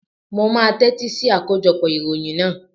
Mo máa tẹ́tí sí akójọpọ̀ ìròyìn náà.